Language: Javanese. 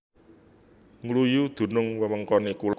Ngluyu dunung wewengkone kulon lan lore Tempuran